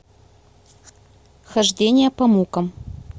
хождение по мукам